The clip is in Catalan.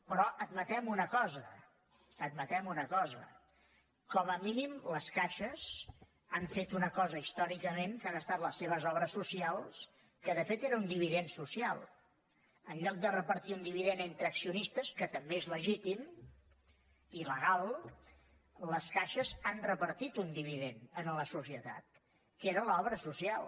però admetem una cosa admetem una cosa com a mínim les caixes han fet una cosa històricament que han estat les seves obres socials que de fet era un dividend social en lloc de repartir un dividend entre accionistes que també és legítim i legal les caixes han repartit un dividend en la societat que era l’obra social